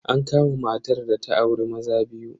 An kama matar da ta auri maza biyu.